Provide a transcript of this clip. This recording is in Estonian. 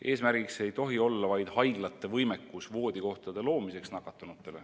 Eesmärk ei tohi olla vaid haiglate võimekus nakatunutele voodikohad tagada.